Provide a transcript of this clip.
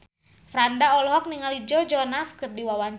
Franda olohok ningali Joe Jonas keur diwawancara